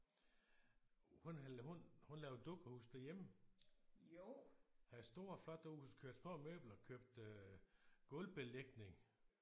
Hun hun hun lavede dukkehuse derhjemme. Af store flotte huse købte små møbler købte gulvbelægning